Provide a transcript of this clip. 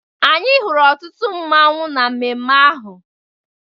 Anyị hụrụ ọtụtụ mmanwu na mmemme ahụ.